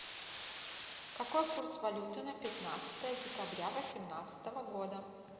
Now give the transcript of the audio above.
какой курс валюты на пятнадцатое декабря восемнадцатого года